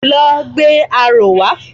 Lọ gbé aró wa!